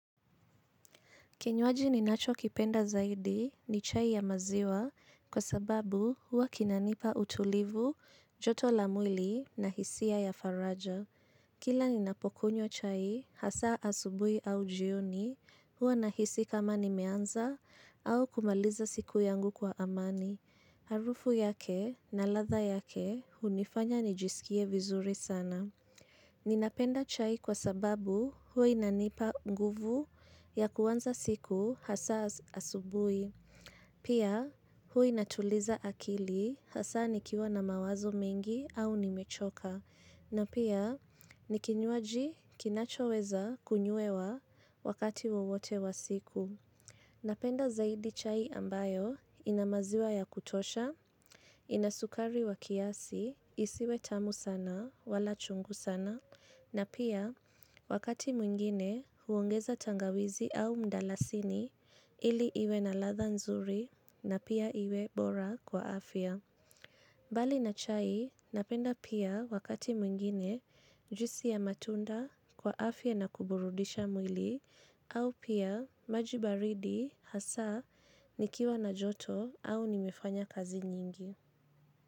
Kinywaji ninacho kipenda zaidi ni chai ya maziwa kwa sababu huwa kinanipa utulivu, joto la mwili na hisia ya faraja. Kila ninapokunywa chai hasa asubuhi au jioni huwa ninahisi kama nimeanza au kumaliza siku yangu kwa amani. Harufu yake na ladha yake hunifanya nijisikie vizuri sana. Ninapenda chai kwa sababu huwa inanipa nguvu ya kuanza siku hasa asubuhi. Pia huwa inatuliza akili hasa nikiwa na mawazo mingi au nimechoka. Na pia nikinywaji kinachoweza kunywewa wakati wowote wa siku. Napenda zaidi chai ambayo inamaziwa ya kutosha, inasukari wa kiasi, isiwe tamu sana, wala chungu sana, na pia wakati mwingine huongeza tangawizi au mdalasini ili iwe na ladha nzuri na pia iwe bora kwa afya. Mbali na chai napenda pia wakati mwingine juisi ya matunda kwa afya na kuburudisha mwili au pia maji baridi hasa nikiwa na joto au nimefanya kazi nyingi.